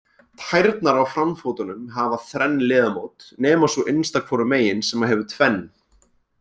Tærnar á framfótunum hafa þrenn liðamót nema sú innsta hvoru megin sem hefur tvenn.